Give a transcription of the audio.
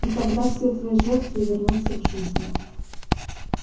и тогда все твои жертвы вернутся к жизни